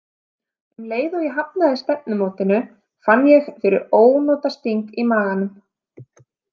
Um leið og ég hafnaði stefnumótinu fann ég fyrir ónotasting í maganum.